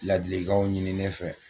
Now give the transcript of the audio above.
Ladilikanw ɲini ne fɛ